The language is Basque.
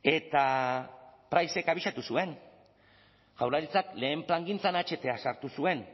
eta pricek abisatu zuen jaurlaritzak lehen plangintzan aht sartu zuen